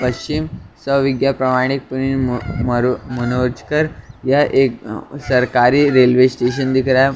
पश्चिम सोे विज्ञा प्रमाणित पुनिर म मरो मनोजकर यह एक सरकारी रेलवे स्टेशन दिख रहा है और --